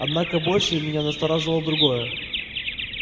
однако больше меня насторожило другое